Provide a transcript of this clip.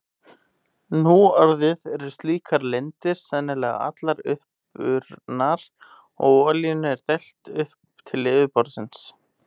Nú orðið eru slíkar lindir sennilega allar uppurnar og olíunni er dælt upp til yfirborðsins.